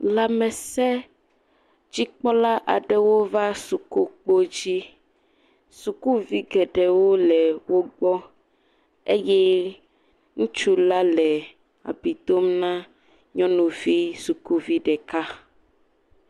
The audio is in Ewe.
Lamesedzikpɔla aɖewo va suku kpɔdzi sukuvi geɖewo le wogbɔ eye ŋutsu la le abui dom na nyɔnuvi sukuvi ɖeka